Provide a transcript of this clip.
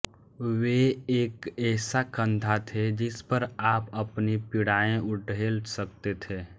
वे एक ऐसा कंधा थे जिसपर आप अपनी पीड़ाएं उड़ेल सकते थे